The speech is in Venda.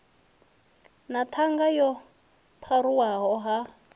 na ṱhanga yo pharuwaho ha